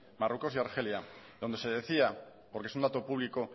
marruecos y argelia donde se decía porque es un dato público